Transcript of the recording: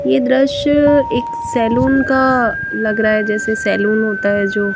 यह दृश्य एक सैलून का लग रहा है जैसे सैलून होता है जो--